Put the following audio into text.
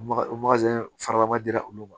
faraba dira olu ma